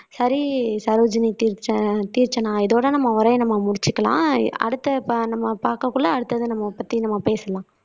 சரி சரோஜினி தீக் தீக்ஷனா இதோட நம்ம உரையை நம்ம முடிச்சுக்கலாம். அடுத்த நம்ம பார்க்கக்குள்ள அடுத்தது நம்ம பத்தி நம்ம பேசலாம்